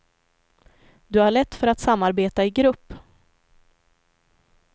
Du har lätt för att samarbeta i grupp.